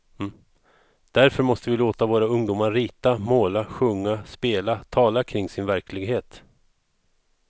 Därför måste vi låta våra ungdomar rita, måla, sjunga, spela, tala kring sin verklighet.